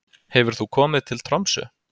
Hefur þú komið til Tromsö?